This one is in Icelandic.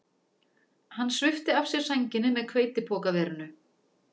Hann svipti af sér sænginni með hveitipokaverinu